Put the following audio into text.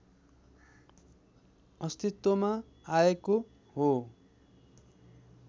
अस्तित्वमा आएको हो